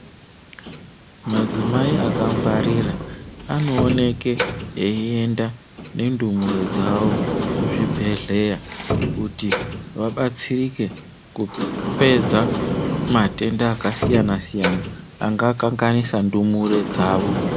Madzimai akangwarira anooneke eiyenda nendumure dzavo kuzvibhedhleya kuti vabatsirike kupedza matenda akasiyana siyana angakanganisa ndumure dzavo.